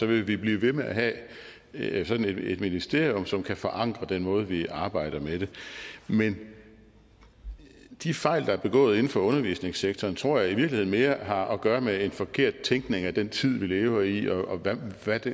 vil vi blive ved med at have sådan et et ministerium som kan forankre den måde vi arbejder med det på men de fejl der er begået inden for undervisningssektoren tror jeg i virkeligheden mere har at gøre med en forkert tænkning af den tid vi lever i og hvordan